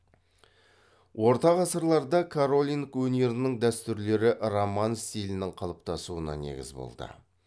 орта ғасырларда каролинг өнерінің дәстүрлері роман стилінің қалыптасуына негіз болды